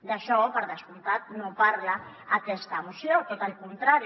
d’això per descomptat no en parla aquesta moció tot al contrari